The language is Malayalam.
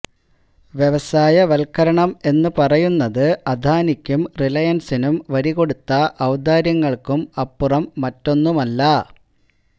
വ്യവസായ വൽക്കരണം എന്ന് പറയുന്നത് അദാനിക്കും റിലയൻസിനും വരികൊടുത്ത ഔദാര്യങ്ങള്ക്കും അപ്പുറം മറ്റൊന്നുമല്ല